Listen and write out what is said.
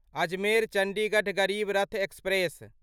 Ajmer Chandigarh Garib Rath express